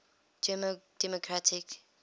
german democratic republic